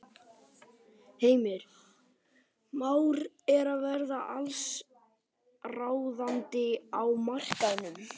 Heimir: Már er að verða allsráðandi á markaðnum?